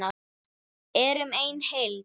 Erum ein heild!